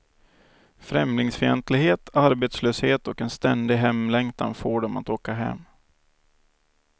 Främlingsfientlighet, arbetslöshet och en ständig hemlängtan får dem att åka hem.